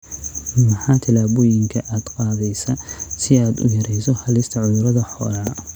Maxaa tillaabooyinka aad qaadaysaa si aad u yarayso halista cudurrada xoolaha?